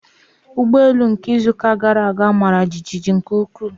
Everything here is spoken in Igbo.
Ụgbọ elu nke izu gara aga mara jijiji nke ukwuu.